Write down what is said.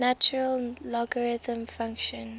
natural logarithm function